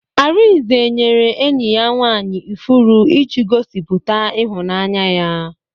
Arinze nyere enyi ya nwaanyị ifuru iji gosiputa ịhụnanya ya.